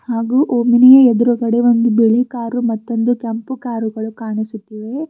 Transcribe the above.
ಹಾಗು ಓಮಿನಿಯ ಎದ್ರುಗಡೆ ಬಿಳಿ ಕಾರು ಮತೊಂದು ಕೆಂಪು ಕಾರುಗಳು ಕಾಣಿಸುತ್ತಿವೆ.